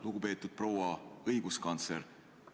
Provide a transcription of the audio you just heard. Lugupeetud proua õiguskantsler!